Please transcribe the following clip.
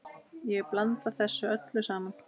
Ég blanda þessu öllu saman.